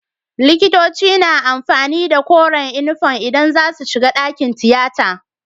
Likitoci na amfani da koren inufom idan zasu shiga dakin tiyata